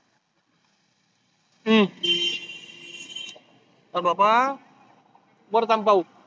अह नको बाबा परत आणि पाहू.